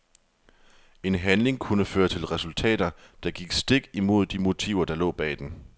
En handling kunne føre til resultater, der gik stik imod de motiver der lå bag den.